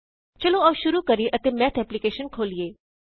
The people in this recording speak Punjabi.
ਚਲੋ ਆਓ ਸ਼ੁਰੂ ਕਰੀਏ ਅਤੇ ਮੈਥ ਐਪ੍ਲਿਕੇਸ਼ਨ ਖੋਲਿਏ